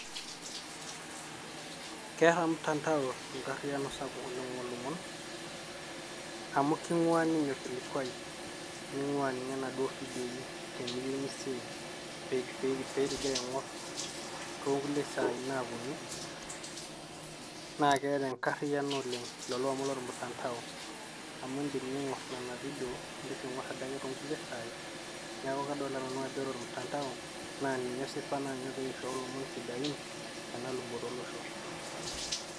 Keeta mtandao enkariano sapuk oleng' oolomon amu king'ua ninye orkilikuai ning'ua ninye naduo vidioi teniyeu nisave pee ing'ira aing'or too kulie saai naaponu naake keeta enkariano oleng' lelo omon lormtandao amu indim ning'or nena vidio, nindim nindoki aing'or too kulie saai. Neeku kadolita nanu ajo kore ormutandao, naa ninye osipa naa ninye ogira airiu ilomon sidain tena luboto olosho.